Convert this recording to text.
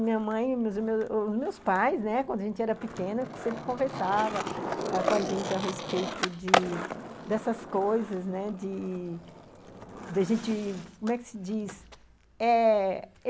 Minha mãe e os meus meus pais, né, quando a gente era pequena, sempre conversavam ãh com a gente a respeito de dessas coisas, né, da gente, como é que se dz? eh...